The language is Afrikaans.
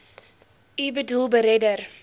u boedel beredder